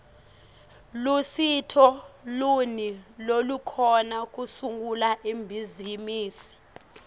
lusito luni lolukhona kusungula ibhizimisi